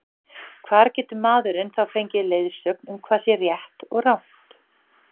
hvar getur maðurinn þá fengið leiðsögn um hvað sé rétt og rangt